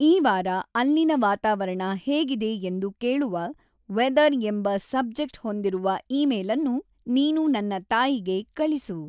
ಈ ವಾರ ಅಲ್ಲಿನ ವಾತಾವರಣ ಹೇಗಿದೆ ಎಂದು ಕೇಳುವ, ವೆದರ್‌ ಎಂಬ ಸಬ್ಜೆಕ್ಟ್‌ ಹೊಂದಿರುವ ಈಮೇಲ್‌ನ್ನು ನೀನು ‌ ನನ್ನ ತಾಯಿಗೆ ಕಳಿಸು.